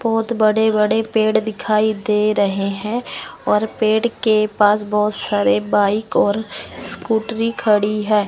बहोत बड़े बड़े पेड़ दिखाई दे रहे हैं और पेड़ के पास बहोत सारे बाइक और स्कूटरी खड़ी है।